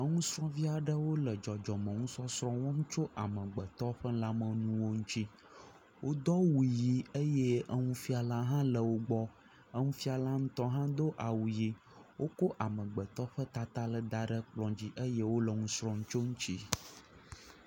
Nusrɔvi aɖewo le dzɔdzɔme nusɔsrɔ wɔm tso amegbetɔ ƒe lamenuwo ŋti wodo awu ɣi eye nufiala le wogbɔ nufiala ŋtɔ ha do awu ɣi wokɔ amegbetɔ ƒe tata daɖe kplɔdzi eye wole nusrɔm tso eŋti